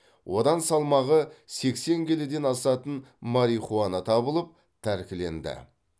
одан салмағы сексен келіден асатын марихуана табылып тәркіленді